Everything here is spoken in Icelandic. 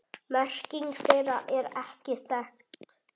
Merking þeirra er ekki þekkt.